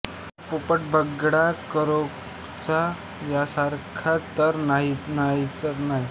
मोर पोपट बगळा करकोचा यासारखा तर नाहीच नाही